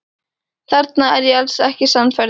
Þarna er ég alls ekki sannfærður.